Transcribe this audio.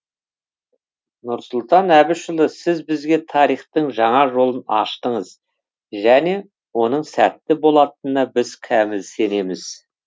нұрсұлтан әбішұлы сіз бізге тарихтың жаңа жолын аштыңыз және оның сәтті болатынына біз кәміл сенеміз